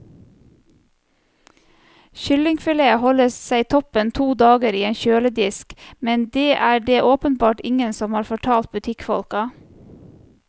Kyllingfilet holder seg toppen to dager i en kjøledisk, men det er det åpenbart ingen som har fortalt butikkfolka.